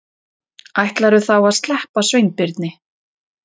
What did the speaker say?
Ætlarðu þá að sleppa Sveinbirni?